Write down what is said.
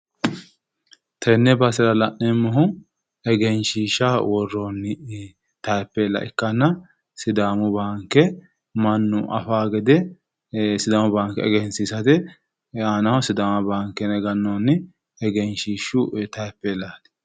tenne basera la'neemmohu egenshiishaho worroonni taapheella ikkanna sidaamu baanke mannu afanno gede sidaamu baanke egensiinsara yine aanaho sidaamu baanke yine gannoonni taapheellaati.